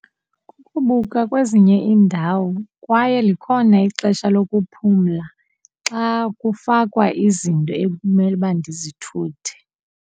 Kukubuka kwezinye iindawo kwaye likhona ixesha lokuphumla xa kufakwa izinto ekumele uba ndizithuthe.